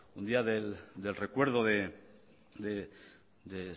un día del recuerdo de